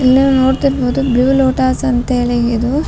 ಇಲ್ನೀವ್ ನೋಡ್ತಿರ್ಬೋದು blue lotus ಅಂತೇಳಿ ಇದು.